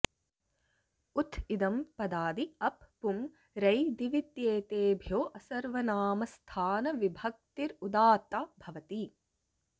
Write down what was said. ऊथ् इदम् पदादि अप् पुम् रै दिवित्येतेभ्यो ऽसर्वनामस्थानविभक्तिरुदात्ता भवति